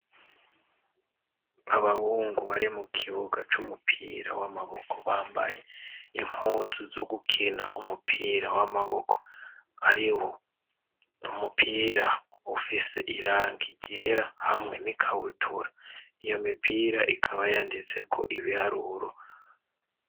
Abawungu bare mu ikibuga c'umupira w'amaboko bambaye impuzu zo gukina umupira w'amaboko ari wo umupira ufise irangi ryera hamwe n'ikawutura iyo mipira ikaba yanditseko ibiharuro.